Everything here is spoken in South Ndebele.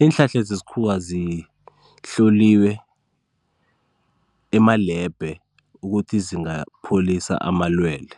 iinhlanhla zesikhuwa zihloliwe emalebhe ukuthi zingapholisa amalwele.